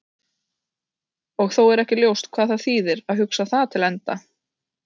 Og þó er ekki ljóst hvað það þýðir að hugsa það til enda.